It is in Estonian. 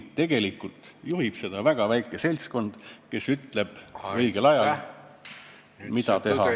Tegelikult juhib seda väga väike seltskond, kes ütleb õigel ajal, mida teha ja kuhu ...